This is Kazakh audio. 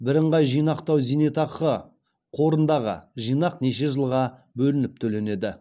біріңғай жинақтау зейнетақы қорындағы жинақ неше жылға бөлініп төленеді